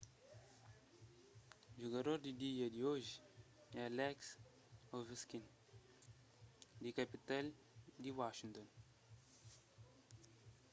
jugador di dia di oji é alex ovechkin di kapital di washington